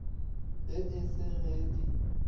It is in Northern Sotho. ge e se ge di